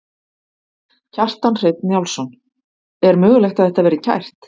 Kjartan Hreinn Njálsson: Er mögulegt að þetta verði kært?